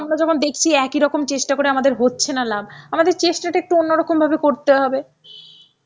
আমরা যেমন দেখছি একই রকম চেষ্টা করে আমাদের হচ্ছে না লাভ, আমাদের চেষ্টা টা একটু অন্য রকম ভাবে করতে হবে.